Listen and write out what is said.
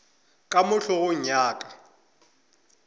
ka mo hlogong ya ka